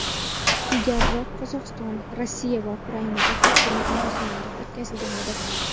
Ilgariroq Qozog‘iston, Rossiya va Ukrainada taqdimot marosimlari o‘tkazilgan edi.